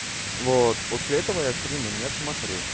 вот после этого я стримы не смотрю